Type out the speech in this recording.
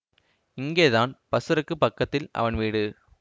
இங்கேதான் பஸ்ஸருக்குப் பக்கத்தில் அவன் வீடு